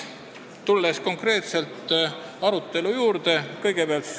Tulen konkreetselt arutelu juurde.